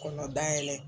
Kɔnɔ da yɛlɛ